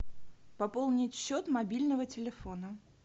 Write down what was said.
пополнить счет мобильного телефона